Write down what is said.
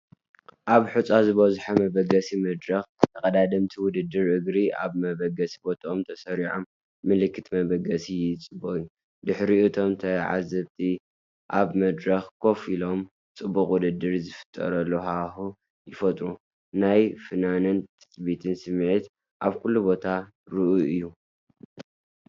ኣብ ሑጻ ዝበዝሖ መበገሲ መድረኽ፡ ተቐዳደምቲ ውድድር እግሪ ኣብ መበገሲ ቦታኦም ተሰሪዖም፡ ምልክት መበገሲ ይጽበዩ። ድሕሪኡ፡ እቶም ተዓዘብቲ፡ ኣብ መድረኽ ኮፍ ኢሎም፡ ጽዑቕ ውድድር ዝፈጥሩ ሃዋህው ይፈጥሩ። ናይ ፍናንን ትጽቢትን ስምዒት ኣብ ኩሉ ቦታ ርኡይ እዩ።